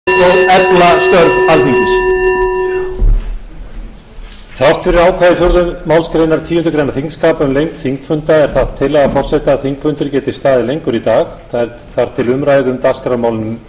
þrátt fyrir ákvæði fjórðu málsgreinar tíundu greinar þingskapa um lengd þingfunda er það tillaga forseta að þingfundur geti staðið lengur í dag eða þar til umræðu um dagskrármálin